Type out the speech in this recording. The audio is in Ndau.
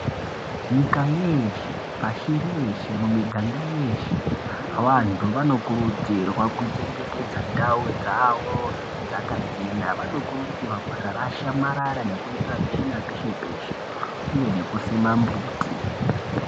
Nyika yeshe pashi reshe ,mumiganga yeshe vantu vanokurudzirwa kuchengetedza ndau dzavo dzakachena . Vanokurudzirwa kusarasha marara nekuitira tsvina peshe peshe uye nekusima mumbuti.